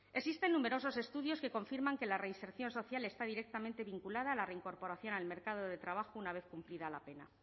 existen numerosos estudios que confirman que la reinserción social está directamente vinculada a la reincorporación al mercado de trabajo una vez cumplida la pena